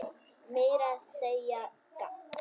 Meira að segja gagn.